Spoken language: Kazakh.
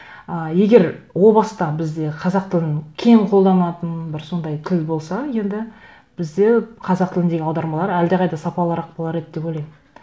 ы егер о баста бізде қазақ тілін кең қолданатын бір сондай тіл болса енді бізде қазақ тіліндегі аудармалар әлдеқайда сапалырақ болар еді деп ойлаймын